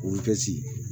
Olu kɛ si